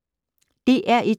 DR1